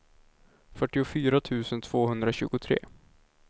fyrtiofyra tusen tvåhundratjugotre